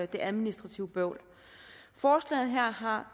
det administrative bøvl forslaget her har